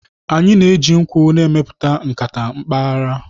Anyị na-eji nkwụ na-emepụta nkata mpaghara.